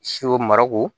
Siw marako